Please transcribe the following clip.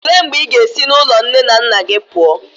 Olee mgbe ị ga-esi n'ụlọ nne na nna gị pụọ?